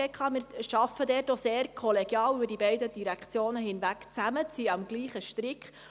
Wir arbeiten diesbezüglich sehr kollegial über die beiden Direktionen hinweg zusammen und ziehen am selben Strick.